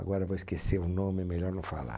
Agora vou esquecer o nome, é melhor não falar.